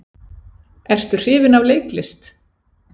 Ertu hrifinn af leiklist?